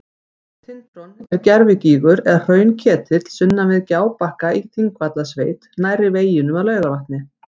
Tintron er gervigígur eða hraunketill sunnan við Gjábakka í Þingvallasveit nærri veginum að Laugarvatni.